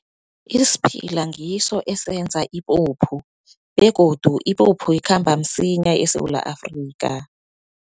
Isiphila ngiso esenza ipuphu, begodu ipuphu ikhamba msinya eSewula Afrika.